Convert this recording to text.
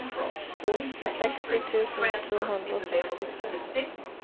seksti tusen to hundre og sekstitre